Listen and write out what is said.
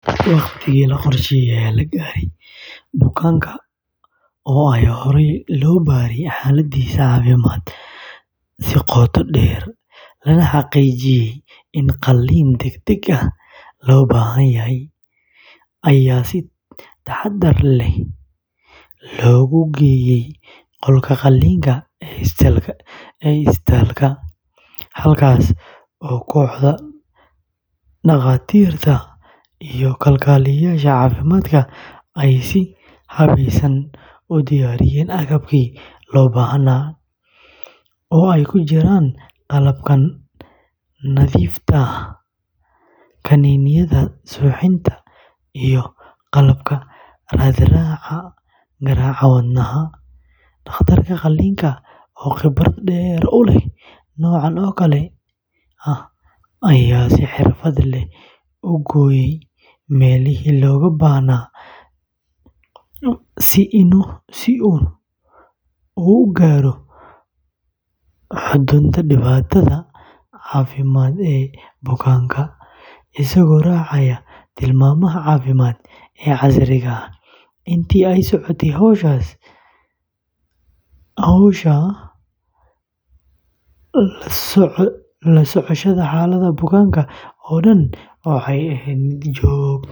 Waqtigii la qorsheeyay ayaa la gaaray, bukaanka oo ay horey loo baaray xaaladiisa caafimaad si qoto dheer, lana xaqiijiyay in qalliin degdeg ah loo baahan yahay, ayaa si taxadar leh loogu geeyay qolka qalliinka ee isbitaalka dhexe, halkaas oo kooxda dhakhaatiirta iyo kalkaaliyeyaasha caafimaadka ay si habeysan u diyaariyeen agabkii loo baahnaa, oo ay ku jiraan qalabka nadiifta ah, kaniiniyada suuxdinta, iyo qalabka raad-raaca garaaca wadnaha; dhakhtarka qalliinka oo khibrad dheer u leh noocan oo kale ah ayaa si xirfad leh u gooyay meelihii looga baahnaa si uu u gaaro xudunta dhibaatada caafimaad ee bukaanka, isagoo raacaya tilmaamaha caafimaad ee casriga ah, intii ay socotay hawsha, la socoshada xaaladda bukaanka oo dhan waxay ahayd mid joogto ah.